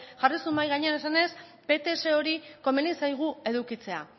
jarri zuen mahai gainean esanez pts hori komeni zaigu edukitzea